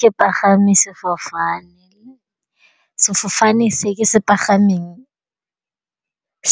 Ke pagame sefofane, sefofane se ke se pagameng